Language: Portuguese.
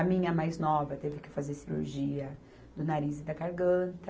A minha mais nova teve que fazer cirurgia do nariz e da garganta.